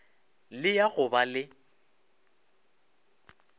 le ya go ba le